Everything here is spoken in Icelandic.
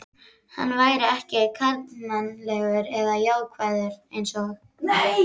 Hann væri ekki karlmannlegur eða jákvæður einsog